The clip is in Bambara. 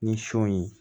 Ni sɔ ye